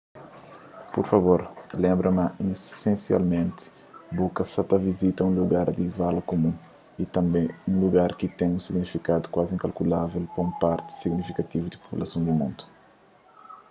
pur favor lenbra ma isensialmenti bu sa ta vizita un lugar di vala kumun y tanbê un lugar ki ten un signifikadu kuazi inkalkulável pa un parti signifikativu di populason di mundu